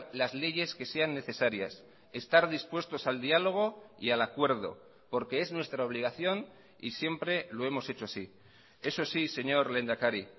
las leyes que sean necesarias estar dispuestos al diálogo y al acuerdo porque es nuestra obligación y siempre lo hemos hecho así eso sí señor lehendakari